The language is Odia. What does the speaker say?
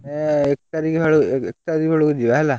ଏଇ ଏକ ତାରିଖ ବେଳକୁ, ଏକତାରିଖ ବେଳକୁ ଯିବା ହେଲା।